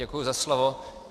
Děkuji za slovo.